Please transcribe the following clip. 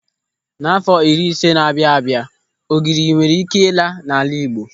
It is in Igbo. N'àfọ́ iri ise na-abịa abịa ogiri nwere ị́ké ịla n'ala Igbo.